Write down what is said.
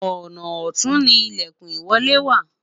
ọnà ọtun ni ilekun ìwọlé wa